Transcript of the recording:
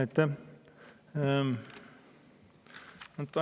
Aitäh!